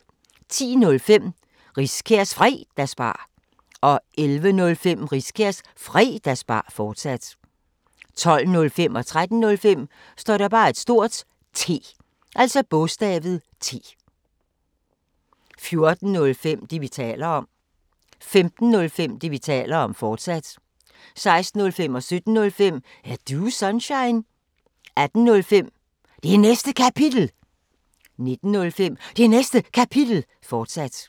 10:05: Riskærs Fredagsbar 11:05: Riskærs Fredagsbar, fortsat 12:05: T 13:05: T 14:05: Det, vi taler om 15:05: Det, vi taler om, fortsat 16:05: Er Du Sunshine? 17:05: Er Du Sunshine? 18:05: Det Næste Kapitel 19:05: Det Næste Kapitel, fortsat